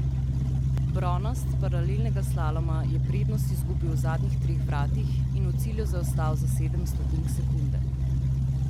Bronast s paralelnega slaloma je prednost izgubil v zadnjih treh vratih in v cilju zaostal za sedem stotink sekunde.